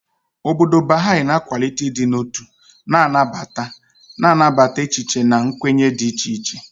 Obodo Baha'i na-akwalite ịdị n'otu na nnabata, na-anabata echiche na nkwenye dị iche iche.